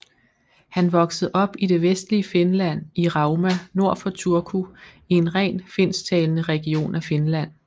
Han voksede op i det vestlige Finland i Rauma nord for Turku i en rent finsktalende region af Finland